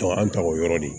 Taga an ta o yɔrɔ de